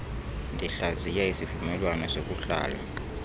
ndihlaziya isivumelwano sokuhlala